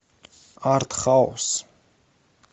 артхаус